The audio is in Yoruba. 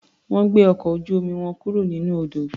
Wọ́n gbé ọkọ̀ ojú-omi wọn kúro nínú odò.